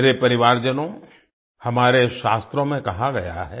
मेरे परिवारजनों हमारे शास्त्रों में कहा गया है